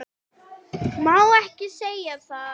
Má ekki segja það?